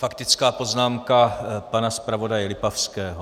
Faktická poznámka pana zpravodaje Lipavského.